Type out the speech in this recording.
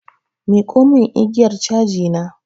Miƙo mun igiyar caji na!